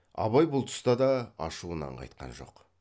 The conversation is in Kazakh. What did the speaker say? абай бұл тұста да ашуынан қайтқан жоқ